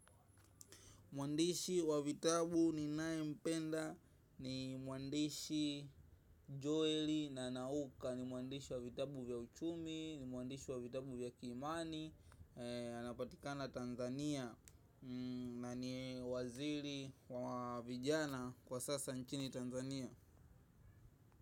Mwandishi wa vitabu ninayempenda ni mwandishi Joeli na Nauka ni mwandishi wa vitabu vya uchumi, ni mwandishi wa vitabu vya kiimani. Anapatikana Tanzania na ni waziri wa vijana kwa sasa nchini Tanzania.